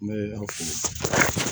N bɛ yɔrɔ furan